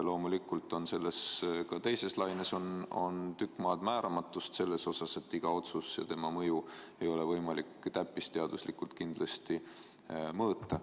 Ja loomulikult on ka selles teises laines suur hulk määramatust selles mõttes, et iga otsust ja selle mõju ei ole võimalik täppisteaduslikult mõõta.